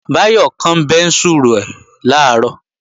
Báyọ̀ kán bẹ́ńsù rẹ̀ làárọ̀